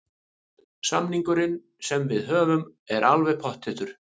Samningurinn sem við höfum er alveg pottþéttur.